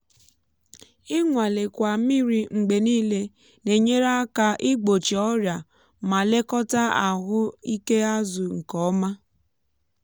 ịnwalekwa mmiri mgbe niile na-enyere aka igbochi ọrịa ma lekọta ahụ ike azụ nke ọma.